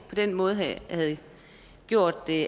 havde gjort det